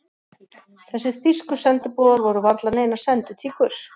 Þessir þýsku sendiboðar voru varla neinar senditíkur.